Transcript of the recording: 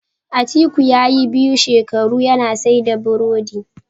Atiku yayi biyu shekaru yana saida birodi